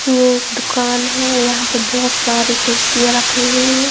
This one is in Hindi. ये एक दुकान है यहां पे बहोत सारी कुर्सियां रखी हुई हैं।